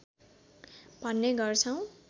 भन्ने गर्छौँ